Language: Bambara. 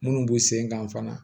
Minnu b'u sen kan fana